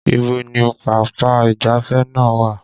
Ibo ni pápá ìgbáfẹ́ náà wà?